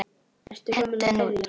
Hentu henni út!